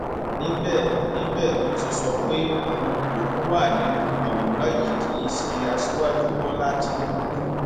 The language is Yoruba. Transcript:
níbẹ níbẹ ló ti sọ pé òun lòún wà nínú àwòrán yìí kì í ṣe aṣíwájú bọlá tínúbù